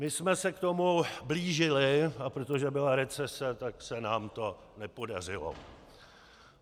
My jsme se k tomu blížili, a protože byla recese, tak se nám to nepodařilo.